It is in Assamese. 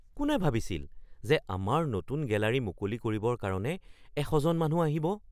কোনে ভাবিছিল যে আমাৰ নতুন গেলাৰী মুকলি কৰিবৰ কাৰণে ১০০ জন মানুহ আহিব?